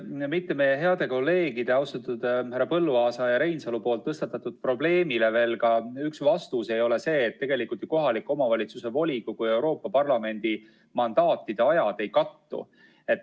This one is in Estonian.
Kas mitte meie heade kolleegide, austatud härra Põlluaasa ja Reinsalu poolt tõstatatud probleemile ei ole veel üks vastus see, et tegelikult ju kohaliku omavalitsuse volikogu ja Euroopa Parlamendi mandaatide ajad ei kattu?